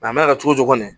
A mɛna kɛ cogo cogo ni